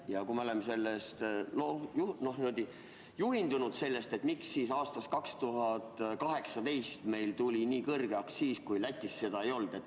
Ja kui me oleme sellest juhindunud, siis miks 2018. aastast tuli meil nii kõrge aktsiis, kuigi Lätis seda ei olnud?